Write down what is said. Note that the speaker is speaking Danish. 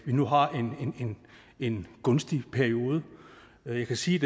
nu har en gunstig periode jeg kan sige